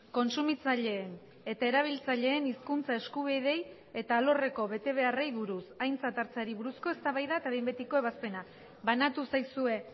kontsumitzaileen eta erabiltzaileen hizkuntza eskubideei eta alorreko betebeharrei buruz aintzat hartzeari buruzko eztabaida eta behin betiko ebazpena banatu zaizue